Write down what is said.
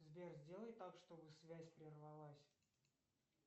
сбер сделай так чтобы связь прервалась